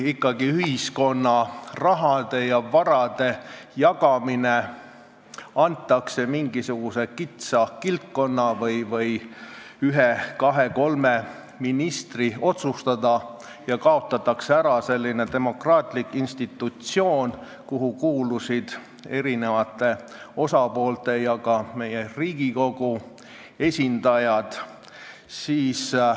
Ühiskonna raha ja vara jagamine antakse mingisuguse kitsa kildkonna või ühe-kahe-kolme ministri otsustada ja kaotatakse ära selline demokraatlik institutsioon, kuhu on kuulunud eri osapoolte ja ka Riigikogu esindajad.